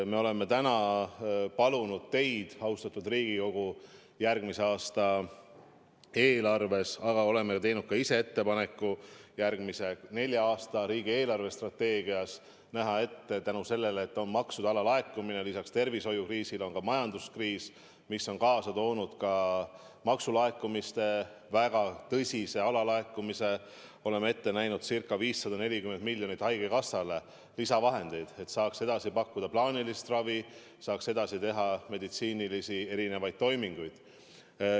Me oleme palunud teid, austatud Riigikogu, järgmise aasta eelarves, aga oleme teinud ka ettepaneku järgmise nelja aasta riigi eelarvestrateegias seetõttu, et on maksude alalaekumine, et lisaks tervishoiukriisile on ka majanduskriis, mis on kaasa toonud maksude väga tõsise alalaekumise, eraldada haigekassale ca 540 miljonit lisavahendeid, et saaks edasi pakkuda plaanilist ravi, saaks edasi teha erinevaid meditsiinilisi toiminguid.